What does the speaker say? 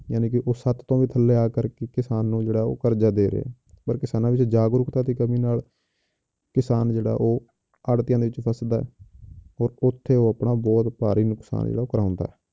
ਯਾਣੀਕਿ ਉਹ ਸੱਤ ਤੋਂ ਵੀ ਥੱਲੇ ਆ ਕਰਕੇ ਕਿਸਾਨ ਨੂੰ ਜਿਹੜਾ ਉਹ ਕਰਜ਼ਾ ਦੇ ਰਿਹਾ ਹੈ, ਪਰ ਕਿਸਾਨਾਂ ਵਿੱਚ ਜਾਗਰੂਕਤਾ ਦੀ ਕਮੀ ਨਾਲ ਕਿਸਾਨ ਜਿਹੜਾ ਉਹ ਆੜਤੀਆਂ ਵਿੱਚ ਫਸਦਾ ਹੈ ਔਰ ਉੱਥੇ ਉਹ ਆਪਣਾ ਬਹੁਤ ਭਾਰੀ ਨੁਕਸਾਨ ਜਿਹੜਾ ਉਹ ਕਰਵਾਉਂਦਾ ਹੈ,